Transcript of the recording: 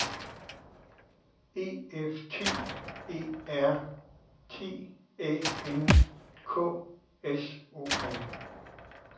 E F T E R T Æ N K S O M